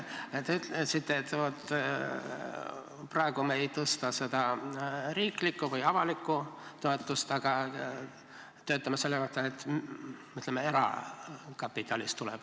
Te ütlesite, et vaat, praegu me ei tõsta seda riiklikku või avalikku toetust, aga töötame selle kallal, et see tuleks erakapitalist.